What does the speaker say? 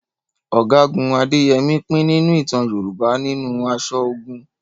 Ọ̀gágun Adéyẹmi pín nínú ìtàn Yorùbá nínú aṣọ ogun